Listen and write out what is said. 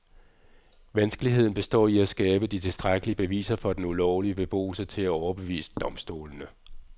Vanskeligheden består i at skabe de tilstrækkelige beviser for den ulovlige beboelse til at overbevise domstolene.